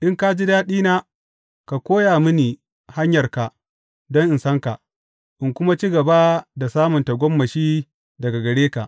In ka ji daɗina, ka koya mini hanyarka don in san ka, in kuma ci gaba da samun tagomashi daga gare ka.